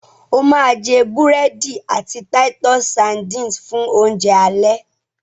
o ma jé burẹdi àti Titus sardines fun Oúnjẹ alẹ́!